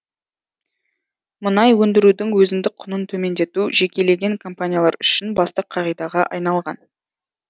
мұнай өндірудің өзіндік құнын төмендету жекелеген компаниялар үшін басты қағидаға айналған